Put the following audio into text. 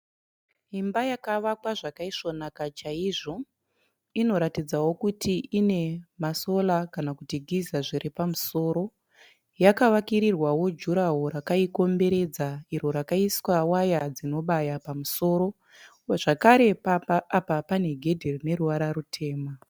Imba yavakwa zvakaisvonaka chaizvo inoratidzawo kuti ine masora kana kuti giza zviri pamusoro. Yakavakirawo juraro rakaikomberedza iro rakaiswa waya dzinobaya pamusoro. Zvakare pamba apa pane gedhe rine ruvara rutema.